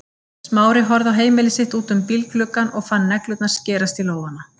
Smári horfði á heimili sitt út um bílgluggann og fann neglurnar skerast í lófana.